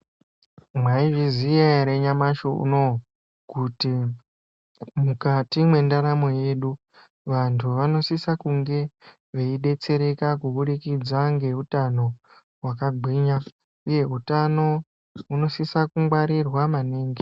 Mwaizviziya ere nyamashi unou kuti mukati mwendaramo yedu vantu vanosisa kunge veidetsereka kubudikidza ngeutano hwakagwinya? Uye utano hunosisa kungwarirwa maningi.